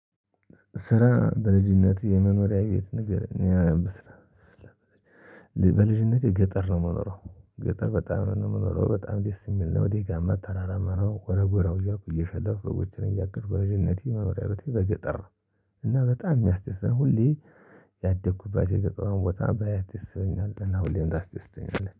ስለ በልጅነቴ የመኖሪያ ቤት ንገረኝ የሚያነብ ስራ ስለሌለ በልጅነቴ ገጠር ነው የምኖረው። ገጠር በጣም ነው የምኖረው በጣም ደስ የሚል ነው። ደጋማ ተራራማ ሀረ ጎራው እያልኩ እየሸለልኩ በጎቼን እያገድኩ በልጅነቴ በገጠር። እና በጣም የሚያስደስት ነው። ሁሌ ያደኩበት የገጠሯን ቦታ ባያት ደስ ይለኛል። እና ሁሌም ታስደስተኛለህ